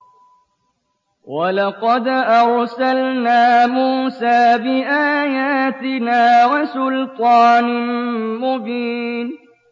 وَلَقَدْ أَرْسَلْنَا مُوسَىٰ بِآيَاتِنَا وَسُلْطَانٍ مُّبِينٍ